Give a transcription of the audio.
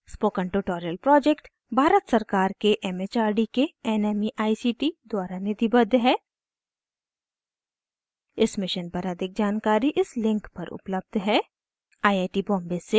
spoken tutorial project Bharat सरकार के MHRD के nmeict द्वारा निधिबद्ध है इस मिशन पर अधिक जानकरी इस लिंक पर उपलब्ध है